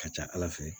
Ka ca ala fɛ